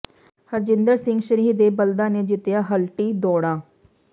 ਹਰਜਿੰਦਰ ਸਿੰਘ ਸਰੀਂਹ ਦੇ ਬਲਦਾਂ ਨੇ ਜਿੱਤੀਆਂ ਹਲਟੀ ਦੌਡ਼ਾਂ